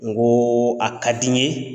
N koo a ka di n ye